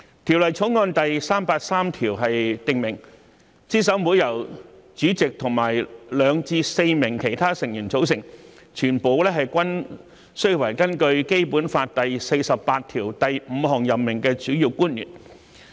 《條例草案》第383條訂明，資審會由主席和2名至4名其他成員組成，全部均須為依據《基本法》第四十八條第五項所指的提名而任命的主要官員。